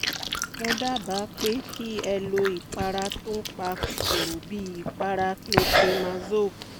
mo dábàá pé kí ẹ lo ìpara tó n pa kòkòrò bíi ìpara clotrimazole